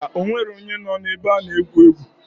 Ḿbà, onwero onye noo na ebe ana egwu egwu.